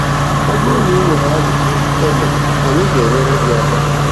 Ọ bụrụ na i nwere ajụjụ Tene, anyị ga-enyere gị aka.